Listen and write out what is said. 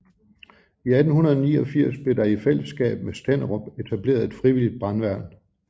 I 1889 blev der i fælleskab med Stenderup etableret et frivilligt brandværn